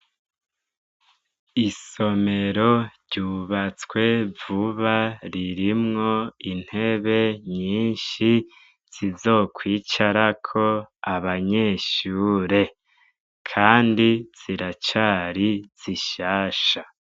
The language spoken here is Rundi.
Isomero ryubatsee vuba ririmwo intebe nyinshi zizokwicarako abanyeshure, kandi ziracari zishasha.